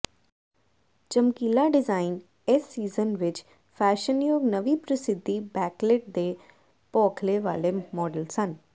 ਚਮਕੀਲਾ design ਇਸ season ਵਿੱਚ ਫੈਸ਼ਨਯੋਗ ਨਵੀਂ ਪ੍ਰਸਿੱਧੀ ਬੈਕਲਿਟ ਦੇ ਤੌਖਲੇ ਵਾਲੇ ਮਾਡਲ ਸਨ